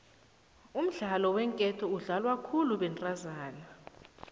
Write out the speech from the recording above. umdlalo weenketo udlalwa khulu bentazana